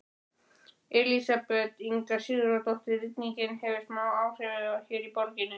Elísabet Inga Sigurðardóttir: Rigningin hefur smá áhrif hér í borginni?